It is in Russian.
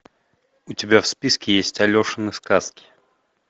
у тебя в списке есть алешины сказки